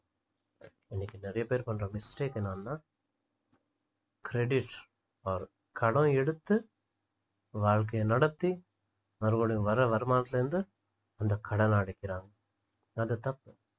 இன்னைக்கு நிறைய பேர் பண்ணுற mistake என்னன்னா credit or கடன் எடுத்து வாழ்க்கையை நடத்தி மறுபடியும் வர்ற வருமானத்துல இருந்து அந்த கடனை அடைக்கிறாங்க அது தப்பு